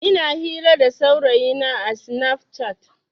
Ina hira da saurayina a sinaf cat.